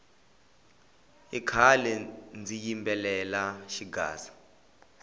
i khale ndzi yimbelela xigaza